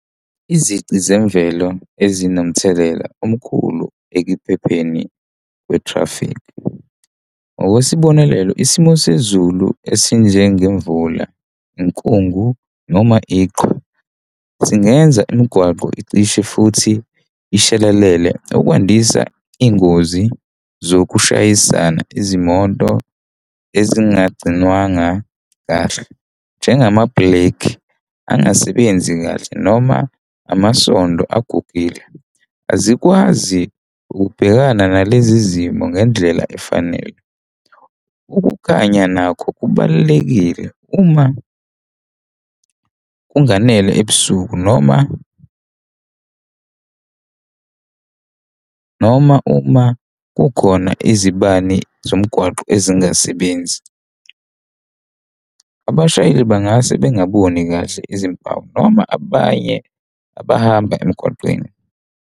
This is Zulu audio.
Izici zemvelo ezinomthelela omkhulu ekuphepheni kwe-traffic. Ngokwesibonelo, isimo sezulu esinjengemvula, inkungu noma iqhwa, singenza imigwaqo icishe futhi ishelelele ukwandisa iy'ngozi zokushayisana. Izimoto ezingagcinwanga kahle njengama bhilekhi angasebenzi kahle noma amasondo agugile, azikwazi ukubhekana nalezi zimo ngendlela efanele. Ukukhanya nakho kubalulekile uma kunganele ebusuku noma, uma, uma kukhona izibani zomgwaqo ezingasebenzi. Abashayeli bangase bengaboni kahle izimpawu noma abanye abahamba emgwaqeni.